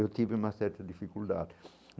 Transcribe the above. Eu tive uma certa dificuldade.